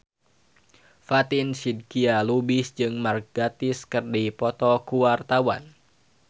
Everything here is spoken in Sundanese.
Fatin Shidqia Lubis jeung Mark Gatiss keur dipoto ku wartawan